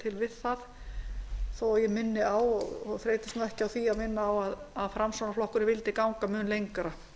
til við það þó ég minni á og þreytist ekki á því að minna á að framsóknarflokkurinn vildi ganga mun lengra